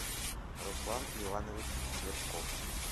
руслан иванович цветков